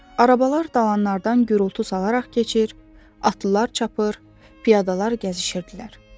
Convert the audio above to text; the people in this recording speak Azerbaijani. Arabalar dalanlardan gurultu salaraq keçir, atlılar çapır, piyadalar gəzişirdilər.